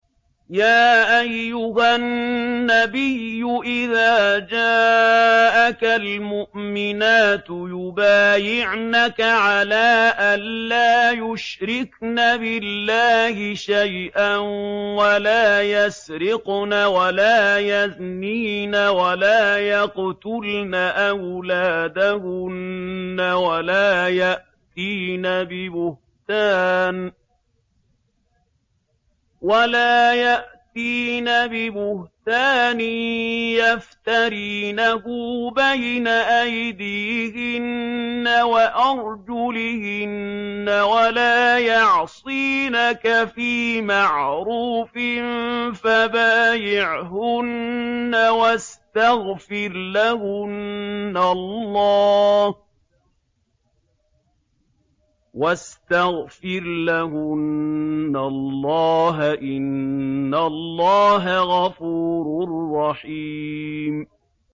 يَا أَيُّهَا النَّبِيُّ إِذَا جَاءَكَ الْمُؤْمِنَاتُ يُبَايِعْنَكَ عَلَىٰ أَن لَّا يُشْرِكْنَ بِاللَّهِ شَيْئًا وَلَا يَسْرِقْنَ وَلَا يَزْنِينَ وَلَا يَقْتُلْنَ أَوْلَادَهُنَّ وَلَا يَأْتِينَ بِبُهْتَانٍ يَفْتَرِينَهُ بَيْنَ أَيْدِيهِنَّ وَأَرْجُلِهِنَّ وَلَا يَعْصِينَكَ فِي مَعْرُوفٍ ۙ فَبَايِعْهُنَّ وَاسْتَغْفِرْ لَهُنَّ اللَّهَ ۖ إِنَّ اللَّهَ غَفُورٌ رَّحِيمٌ